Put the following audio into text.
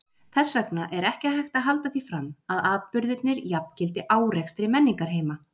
Þess vegna er ekki hægt að halda því fram að atburðirnir jafngildi árekstri menningarheima.